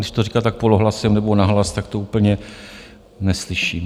Když to říká tak polohlasem nebo nahlas, tak to úplně neslyším.